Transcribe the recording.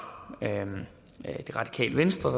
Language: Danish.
det radikale venstre